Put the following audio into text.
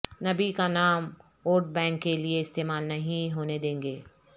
نبی کا نام ووٹ بنک کے لیے استعمال نہیں ہونے دینگے